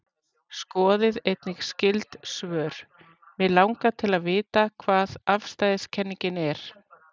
Skoðið einnig skyld svör: Mig langar til að vita hvað afstæðiskenningin er.